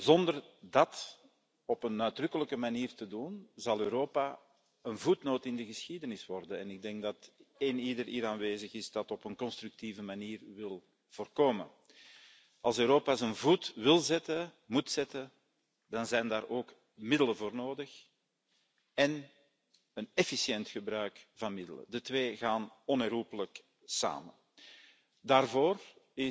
Zonder dat op een uitdrukkelijke manier te doen, zal Europa een voetnoot in de geschiedenis worden en ik denk dat iedereen die hier aanwezig is dat op een constructieve manier wil voorkomen. Als Europa zich wil laten gelden, dan zijn daar ook middelen voor nodig en een efficiënt gebruik van middelen. Die twee gaan onherroepelijk samen. Daarvoor